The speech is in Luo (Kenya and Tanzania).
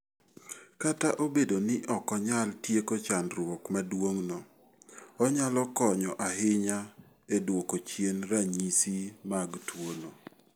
Kata obedo ni ok onyal tieko chandruok maduong'no, onyalo konyo ahinya e duoko chien ranyisi mag tuwono.